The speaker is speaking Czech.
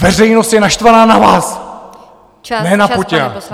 Veřejnost je naštvaná na vás, ne na Putina!